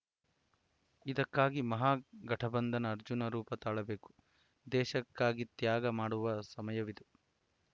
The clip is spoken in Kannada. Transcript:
ಇದಕ್ಕಾಗಿ ಮಹಾಗಠಬಂಧನ ಅರ್ಜುನ ರೂಪ ತಾಳಬೇಕು ದೇಶಕ್ಕಾಗಿ ತ್ಯಾಗ ಮಾಡುವ ಸಮಯವಿದು